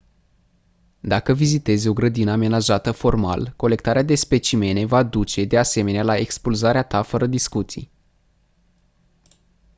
dacă vizitezi o grădină amenajată formal colectarea de specimene va duce de asemenea la expulzarea ta fără discuții